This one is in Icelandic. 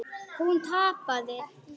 Hún tapaði.